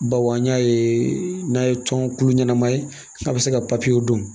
Bawo an y'a ye n'a ye tɔn kulu ɲɛnama ye a bɛ se ka dun